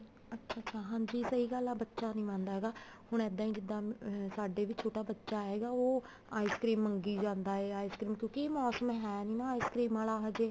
ਅੱਛਾ ਅੱਛਾ ਹਾਂਜੀ ਸਹੀ ਗੱਲ ਆ ਬੱਚਾ ਨੀ ਮੰਨਦਾ ਹੈਗਾ ਹੁਣ ਇੱਦਾਂ ਹੀ ਜਿੱਦਾਂ ਸਾਡੇ ਵੀ ਛੋਟਾ ਬੱਚਾ ਹੈਗਾ ਉਹ ice cream ਮੰਗੀ ਜਾਂਦਾ ਹੈ ice cream ਕਿਉਂਕਿ ਇਹ ਮੋਸਮ ਹੈ ਨੀ ਨਾ ice cream ਆਲਾ ਹਜੇ